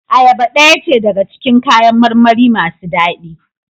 Ayaba daya ce daga cikin kayan marmari masu dadi.